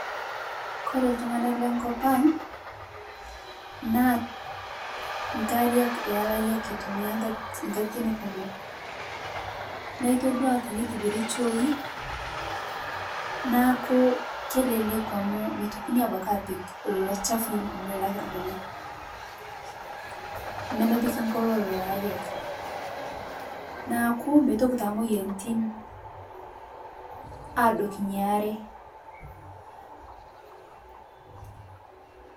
Kore ltung'ana lenkopang' naa nkariak elariak entumiarii nkatitin kumoo naa itodua teneitibiri chooi naaku keleleku amu meitokinii abakii apik loloo chafui lkulie lakirding'aa nemepiki nkoloo leloo ariak naaku meitoki taa moyanitin adokii inia aree.